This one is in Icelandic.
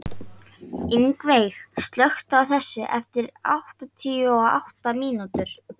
Ingiveig, slökktu á þessu eftir áttatíu og átta mínútur.